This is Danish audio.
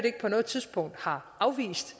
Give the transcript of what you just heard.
ikke på noget tidspunkt har afvist